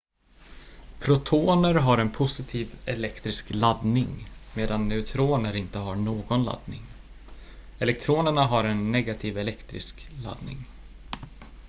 protoner har en positiv elektrisk laddning medan neutroner inte har någon laddning elektronerna har en negativ elektrisk laddning